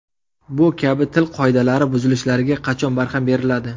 Bu kabi til qoidalari buzilishlariga qachon barham beriladi?